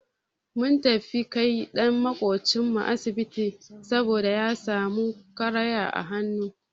Mun tafi kai ɗan maƙocin mu asibiti saboda ya samu karaya a hannu.